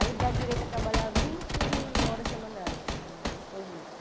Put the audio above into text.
Aí dá direito a trabalhar vinte horas semanais no estrangeiro.